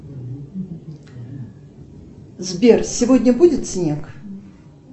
сбер сегодня будет снег